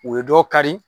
U ye dɔ kari